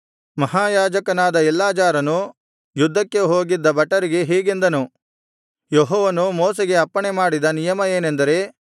ಮಹಾಯಾಜಕನಾದ ಎಲ್ಲಾಜಾರನು ಯುದ್ಧಕ್ಕೆ ಹೋಗಿದ್ದ ಭಟರಿಗೆ ಹೀಗೆಂದನು ಯೆಹೋವನು ಮೋಶೆಗೆ ಅಪ್ಪಣೆಮಾಡಿದ ನಿಯಮ ಏನೆಂದರೆ